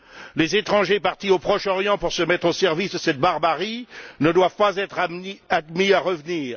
Les étrangers partis au Proche Orient pour se mettre au service de cette barbarie ne doivent pas être admis à revenir.